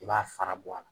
I b'a fara bɔ a la